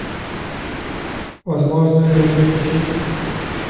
возможные миры включи